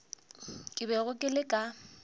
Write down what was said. ke bego ke le ka